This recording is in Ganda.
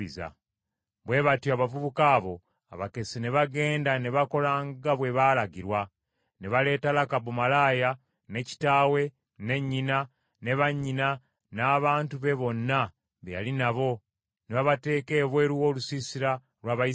Bwe batyo abavubuka abo abakessi ne bagenda ne bakola nga bwe baalagirwa, ne baleeta Lakabu malaaya, ne kitaawe, ne nnyina, ne bannyina n’abantu be bonna be yali nabo, ne babateeka ebweru w’olusiisira lw’Abayisirayiri.